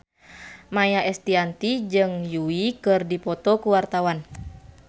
Maia Estianty jeung Yui keur dipoto ku wartawan